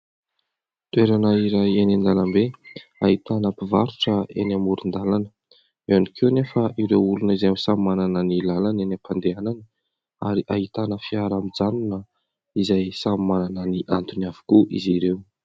toerana iray eny an-dalambe hahitana mpivarotra eny amoron-dalana eo ihany koa anefa ireo olona izay samy manana ny lalana eny am-pandehanana ary hahitana fiara mijanona izay samy manana ny antony avokoa izy ireo